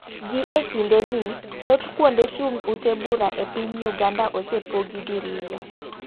Gi e kinde ni, thoth kuonde chung' ute bura e piny Uganda osepogi diriyo.